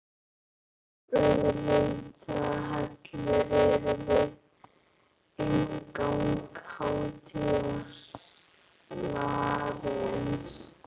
Rauðleitar hellur eru við inngang hátíðasalarins, steyptar úr baulusteini.